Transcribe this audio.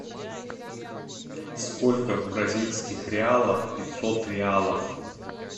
сколько в бразильских реалах пятьсот реалов